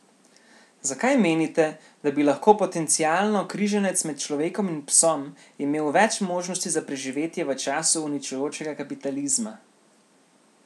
Zakaj menite, da bi lahko potencialno križanec med človekom in psom imel več možnosti za preživetje v času uničujočega kapitalizma?